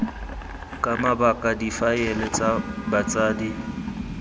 ka mabaka difaele tsa botsadi